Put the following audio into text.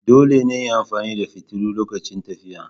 Dole ne in yi amfani da fitilu lokacin tafiya.